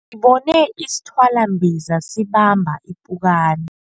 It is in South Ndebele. Sibone isithwalambiza sibamba ipukani.